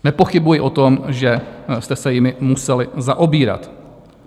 Nepochybuji o tom, že jste se jimi museli zaobírat.